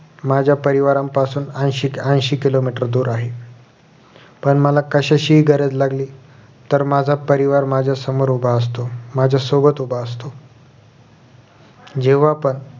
माझ्या परिवारापासून ऐशी ऐशी किलोमीटर दूर आहे पण मला कशाचीही गरज लागली तर माझा परिवार माझ्या समोर उभा असतो माझ्या सोबत उभा असतो जेव्हा पण